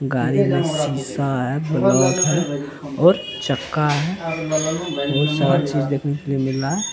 गाड़ी का सीसा बल्ब है और चक्का है बहुत सारा चीज देखने को मिल रहा है ।